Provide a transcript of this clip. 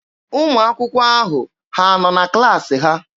Ụmụ akwụkwọ ahụ ha nọ na klaasị ha?